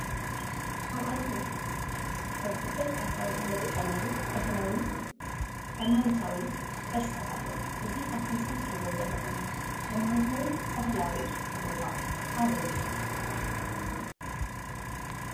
ኣብ ዓድና ከም ፍልፍል ኣታዊና እንጥቀመሉ ባህላዊ ሃይማኖታዊ ቅርስታት ኣለዉ፡፡ እዚ ኣብ እቲ ምስሊ እትሪእዎ ዘለኹም ሃይማኖታውን ባህላውን ቦታ ኣበይ ይርከብ?